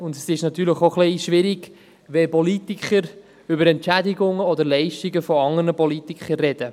Natürlich ist es auch etwas schwierig, wenn Politiker über Entschädigungen oder Leistungen von anderen Politikern sprechen.